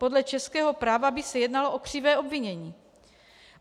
Podle českého práva by se jednalo o křivé obvinění.